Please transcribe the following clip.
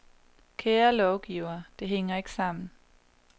Kære lovgivere, det hænger ikke sammen.